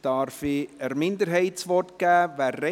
Darf ich der Minderheit das Wort geben?